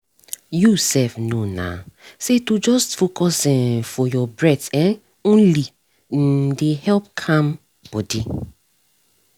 you sef know na say to just focus um for your breathe um only um dey calm body